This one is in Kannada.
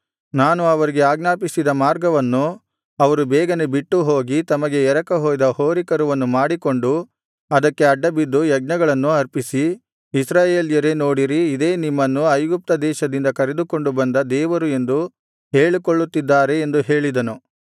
ನಾನು ಅವರಿಗೆ ಅಜ್ಞಾಪಿಸಿದ ಮಾರ್ಗವನ್ನು ಅವರು ಬೇಗನೇ ಬಿಟ್ಟು ಹೋಗಿ ತಮಗೆ ಎರಕ ಹೊಯ್ದ ಹೋರಿಕರುವನ್ನು ಮಾಡಿಸಿಕೊಂಡು ಅದಕ್ಕೆ ಅಡ್ಡಬಿದ್ದು ಯಜ್ಞಗಳನ್ನು ಅರ್ಪಿಸಿ ಇಸ್ರಾಯೇಲ್ಯರೇ ನೋಡಿರಿ ಇದೇ ನಿಮ್ಮನ್ನು ಐಗುಪ್ತದೇಶದಿಂದ ಕರೆದುಕೊಂಡು ಬಂದ ದೇವರು ಎಂದು ಹೇಳಿಕೊಳ್ಳುತ್ತಿದ್ದಾರೆ ಎಂದು ಹೇಳಿದನು